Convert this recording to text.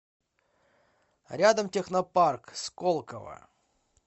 рядом технопарк сколково